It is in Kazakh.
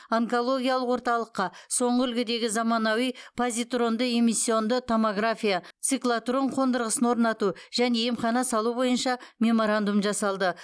онкологиялық орталыққа соңғы үлгідегі заманауи позитронды эмиссионды томография циклотрон қондырғысын орнату және емхана салу бойынша меморандум жасалды